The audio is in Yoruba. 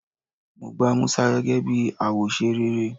Mo gba Musa gege bi awose rere